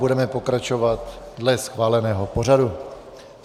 Budeme pokračovat dle schváleného pořadu.